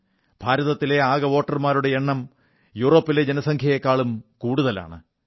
ഭാരതത്തിലെ ആകെ വോട്ടർമാരുടെ എണ്ണം യൂറോപ്പിലെ ജനസംഖ്യയെക്കാളും കൂടുതലാണ്